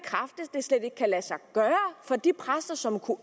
det slet ikke kan lade sig gøre for de præster som kunne